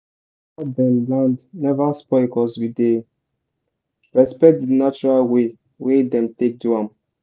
our papa them land never spoil cuz we dey respect the natural way wey dem take do am.